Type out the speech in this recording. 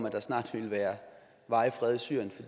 at der snart ville være varig fred i syrien for